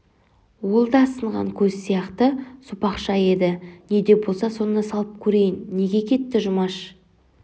ол да сынған көз сияқты сопақша еді не де болса соны салып көрейін неге кетті жұмаш